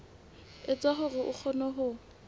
etsa hore a kgone ho